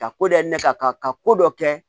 Ka ko dɔ kɛ ne ta kan ka ka ko dɔ kɛ